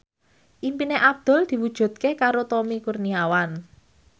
impine Abdul diwujudke karo Tommy Kurniawan